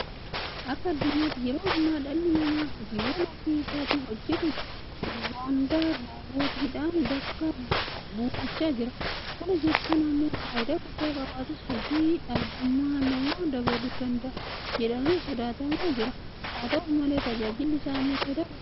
Akka addunyaatti yeroo ammaa dhalli namaa hojiiwwan ofii isaatii hojjetu hunda Roobootiidhaan bakka buufachaa jira. Kana jechuun immoo faayidaa guddaa qabaatus hojii dhabdummaa namaa dabaluu danda'a jedhamee sodaatamaa jira. Haata'u malee tajaajilli isaa immoo faayidaa guddaa qaba.